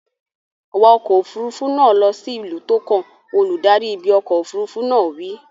Wa ọkọ̀ òfuurufú náà lọ sí ìlú tó kàn! Olùdarí ibi ọkọ̀ òfuurufú náà wí.